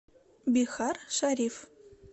бихаршариф